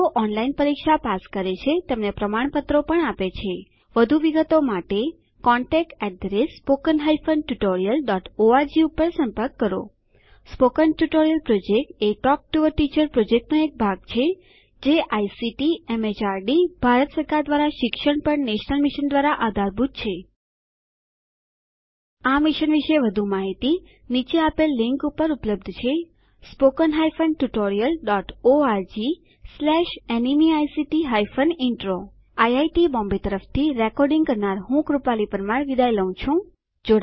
જેઓ ઓનલાઇન પરીક્ષા પાસ કરે છે તેમને પ્રમાણપત્રો આપે છે વધુ વિગતો માટે contactspoken tutorialorg ઉપર સંપર્ક કરો સ્પોકન ટ્યુટોરીયલ પ્રોજેક્ટ એ ટોક ટુ અ ટીચર પ્રોજેક્ટનો એક ભાગ છે જે આઇસીટીએમએચઆરડીભારત સરકાર દ્વારા શિક્ષણ પર નેશનલ મિશન દ્વારા આધારભૂત છે આ મિશન પર વધુ માહિતી નીચે આપેલ લીંક પર ઉપલબ્ધ છે spoken hyphen tutorial dot org slash NMEICT hyphen intro IIT Bombay તરફથી ભાષાંતર કરનાર હું જ્યોતી સોલંકી વિદાય લઉં છું